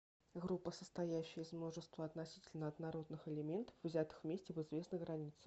группа состоящая из множества относительно однородных элементов взятых вместе в известных границах